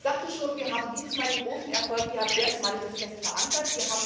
Ich sagte schon Wir haben dieses Mal den großen Erfolg, wir haben das erstmalig fest verankert.